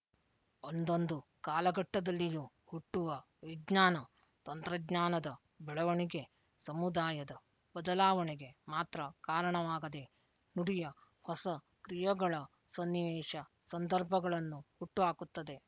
ಒಂದೊಂದು ಕಾಲಘಟ್ಟದಲ್ಲಿಯೂ ಹುಟ್ಟುವ ವಿಜ್ಞಾನ ತಂತ್ರಜ್ಞಾನದ ಬೆಳವಣಿಗೆ ಸಮುದಾಯದ ಬದಲಾವಣೆಗೆ ಮಾತ್ರ ಕಾರಣವಾಗದೇ ನುಡಿಯ ಹೊಸ ಕ್ರಿಯೆಗಳ ಸನ್ನಿವೇಶಸಂದರ್ಭಗಳನ್ನು ಹುಟ್ಟು ಹಾಕುತ್ತದೆ